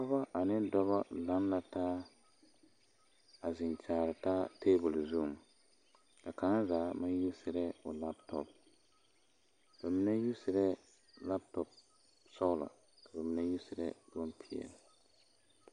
Pɔgebɔ ane dɔbɔ laŋ la taa a zeŋ kyaare taa tebol zuŋ kaŋa zaa maŋ yuuseree o laatopo ba mine yuuseree laatopo sɔglɔ ka ba mine yuuseree bompeɛle.